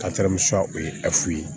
o ye ye